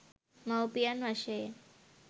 මව්පියන් වශයෙන්